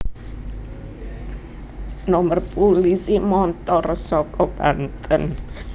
nomer pulisi montor saka Banten